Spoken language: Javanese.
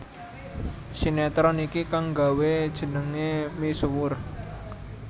Sinetron iki kangg nggawé jenengé misuwur